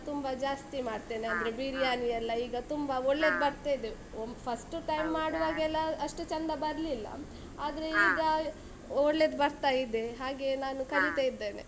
ತುಂಬ ಜಾಸ್ತಿ ಮಾಡ್ತೇನೆ, ಬಿರಿಯಾನಿಯೆಲ್ಲ ಈಗ ತುಂಬ ಬರ್ತ ಇದೆ ಮಾಡುವಾಗೆಲ್ಲ ಅಷ್ಟು ಚಂದ ಬರ್ಲಿಲ್ಲ, ಆದ್ರೆ ಈಗ ಒಳ್ಳೆದು ಬರ್ತಾ ಇದೆ, ಹಾಗೆ ನಾನು ಕಲಿತಾ ಇದ್ದೆನೆ.